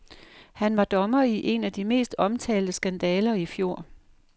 Han var dommer i en af de mest omtalte skandaler i fjor.